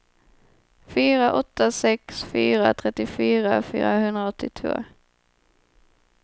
fyra åtta sex fyra trettiofyra fyrahundraåttiotvå